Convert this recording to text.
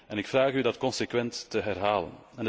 En ik vraag u dat consequent te herhalen.